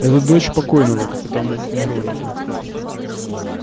это дочь покойного капитана миронова